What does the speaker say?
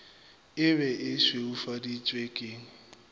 e be e šweufaditšwe ke